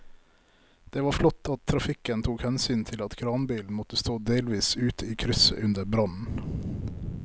Det var flott at trafikken tok hensyn til at kranbilen måtte stå delvis ute i krysset under brannen.